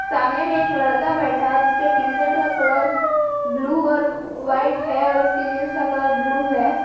सामने में एक लड़का बैठा है जिसके टी शर्ट का कलर ब्लू और व्हाइट है और उसके जींस का कलर ब्लू है।